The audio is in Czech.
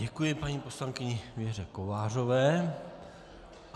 Děkuji paní poslankyni Věře Kovářové.